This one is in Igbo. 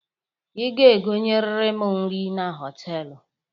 Ị ga-egonyeriri m nri na họtelụ